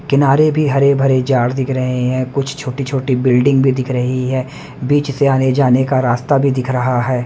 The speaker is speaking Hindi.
किनारे भी हरे-भरे जाड़ दिख रहे हैं कुछ छोटी-छोटी बिल्डिंग भी दिख रही है बीच से आने-जाने का रास्ता भी दिख रहा है।